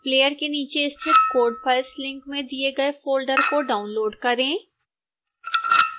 player के नीचे स्थित code files लिंक में दिए गए फोल्डर को डाउनलोड़ करें